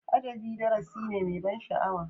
Adabi darasi ne mai ban sha'awa.